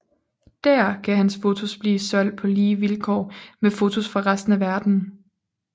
Dér kan hans fotos blive solgt på lige vilkår med fotos fra resten af verden